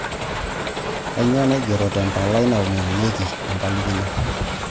Kanyio naigero te mbalai naomonunyieki empalikino